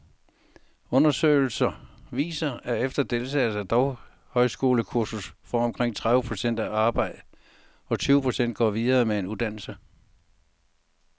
Undersøgelser viser, at efter deltagelse i et daghøjskolekursus får omkring tredive procent arbejde, og tyve procent går videre med en uddannelse.